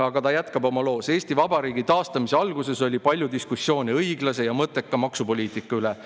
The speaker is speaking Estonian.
Aga ta jätkab oma loos: "Eesti Vabariigi taastamise alguses oli palju diskussioone õiglase ja mõtteka maksupoliitika üle.